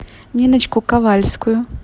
ниночку ковальскую